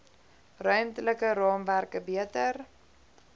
ruimtelike raamwerke beter